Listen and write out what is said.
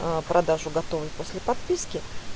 а продажу готовой после подписки